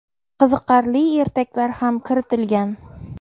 qiziqarli ertaklar ham kiritilgan.